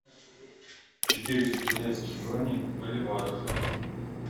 четыреста китайских юаней в боливарах